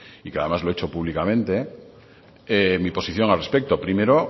y que además lo he hecho públicamente mi posición al respecto primero